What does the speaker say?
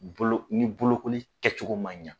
Bolo ni bolokoli kɛcogo man ɲɛ.